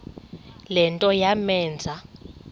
le nto yamenza